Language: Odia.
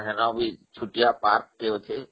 ସେଠି ଛୋଟିଆ ପାର୍କ ଟେ ଅଛି